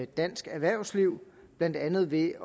dansk erhvervsliv blandt andet ved